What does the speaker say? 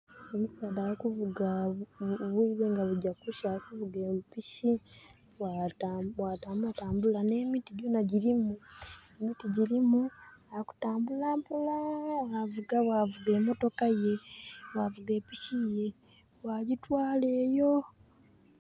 Omusaadha ali kuvuga obwiire nga bugya kukya ali kuvuga empiki. Bwatambula tambula, n'emiti gyona gyirimu. Emiti gyirimu, ali kutambula mpola bwavuga, bwavuga emotoka ye. Bwavuga epiki ye, bwagyitwala eyo.